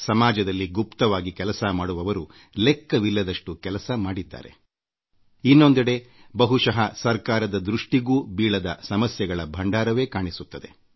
ಸಮಾಜದಲ್ಲಿ ನಿಸ್ವಾರ್ಥವಾಗಿ ಕೆಲಸ ಮಾಡುವ ಮತ್ತು ಸಮಾಜಕ್ಕೆ ಏನಾದರೂ ಕೊಡುಗೆ ನೀಡಬೇಕು ಎಂಬುವರು ಲೆಕ್ಕವಿಲ್ಲದಷ್ಟು ಜನರಿದ್ದಾರೆ ಇನ್ನೊಂದೆಡೆ ಬಹುಶಃ ಸರ್ಕಾರದ ದೃಷ್ಟಿಗೂ ಬೀಳದ ಸಮಸ್ಯೆಗಳ ಭಂಡಾರವೇ ಗೋಚರಿಸುತ್ತದೆ